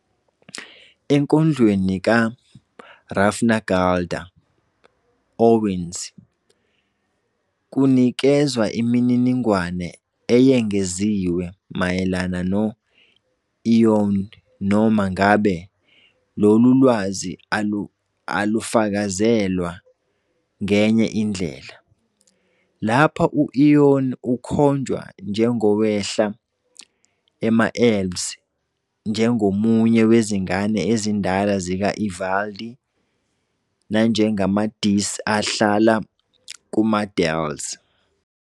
Enkondlweni "kaHrafnagaldr Óðins", kunikezwa imininingwane eyengeziwe mayelana no-Iðunn, noma ngabe lolu lwazi alufakazelwa ngenye indlela. Lapha, u-Iðunn ukhonjwa njengowehla ema- elves, njengomunye "wezingane ezindala zika-Ivaldi " nanjengama- dís ahlala kuma- dales.